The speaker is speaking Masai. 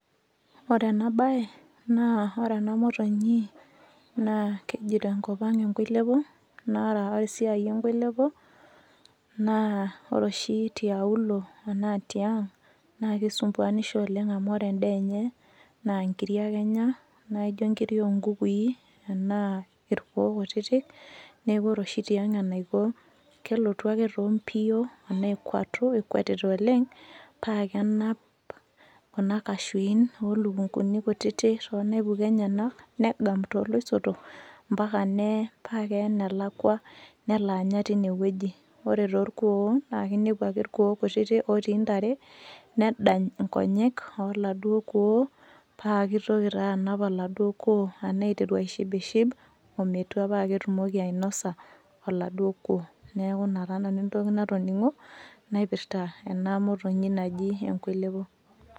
Ore ena bae, naa ore ena motonyi, naa keji tenkop ang enkoilepo, na ore esiai enkoilepo, naa ore oshi tiauluo enaa tiang, naa kesumbuanisho oleng amu ore endaa enye, naa nkiri ake enya, naijo nkiri onkukui, enaa irkuo kutitik, neeku ore oshi tiang enaiko, kelotu ake to mbio, amu ekuatu ekuetita oleng, pakenap kuna kashuin olukunkuni kutitik tonaipuka enyanak, negam toloisotok, mpaka nee, pa keya enelakwa nelo anya tinewueji. Ore torkuon, na kinepu ake irkuo kutitik otii ntare, nedany inkonyek oladuo kuon, pakitoki taa anap oladuo kuo enaa iteru aishipship, ometua paa ketumoki ainosa oladuo kuo. Neeku ina taa nanu entoki natoning'o, naipirta ena motonyi naji enkoilepo.